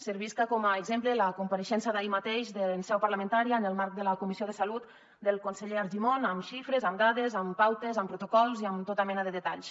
servisca com a exemple la compareixença d’ahir mateix en seu parlamentària en el marc de la comissió de salut del conseller argimon amb xifres amb dades amb pautes amb protocols i amb tota mena de detalls